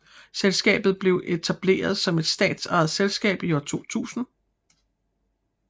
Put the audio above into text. Selskabet blev etableret som et statsejet selskab i år 2000